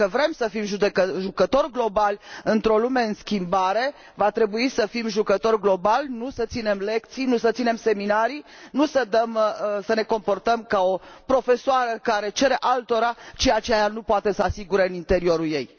Dacă vrem să fim jucători globali într o lume în schimbare, va trebui să fim jucători globali, nu să ținem lecții, nu să ținem seminarii, nu să ne comportăm ca o profesoară care cere altora ceea ce ea nu poate să asigure în interiorul ei.